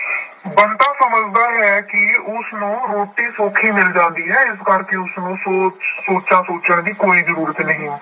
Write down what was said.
ਬੰਤਾ ਸਮਝਦਾ ਹੈ ਕਿ ਉਸਨੂੰ ਰੋਟੀ ਸੌਖੀ ਮਿਲ ਜਾਂਦੀ ਹੈ ਇਸ ਕਰਕੇ ਉਸਨੂੰ ਸੋਚ ਸੋਚਾਂ ਸੋਚਣ ਦੀ ਕੋਈ ਜ਼ਰੂਰਤ ਨਹੀਂ।